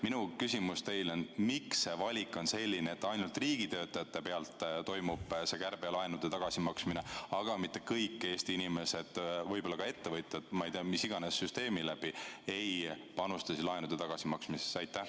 Minu küsimus teile on järgmine: miks on valik selline, et ainult riigitöötajate pealt kärbitakse, et saaks laene tagasi maksta, mitte ei kästa kõigil Eesti inimestel, võib-olla ka ettevõtjatel mis iganes süsteemi läbi, panustada laenude tagasimaksmisse?